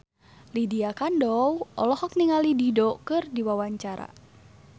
Lydia Kandou olohok ningali Dido keur diwawancara